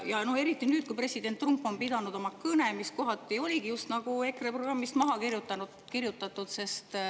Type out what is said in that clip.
Ja eriti nüüd, kui president Trump on pidanud oma kõne, mis kohati oli justnagu EKRE programmist maha kirjutatud.